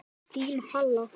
Þín, Halla.